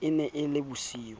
e ne e le bosiu